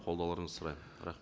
қолдауларыңызды сұраймын